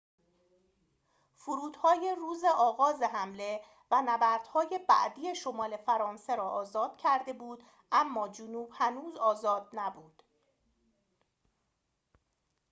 فرودهای روز آغاز حمله و نبردهای بعدی شمال فرانسه را آزاد کرده بود اما جنوب هنوز آزاد نبود